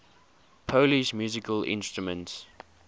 polish musical instruments